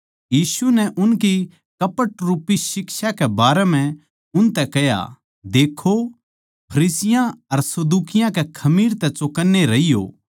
यीशु नै उनकी कपट रूपी शिक्षा के बारें म्ह उनतै कह्या देक्खो फरिसियाँ अर सदूकियाँ कै खमीर तै चौकन्ने रहियो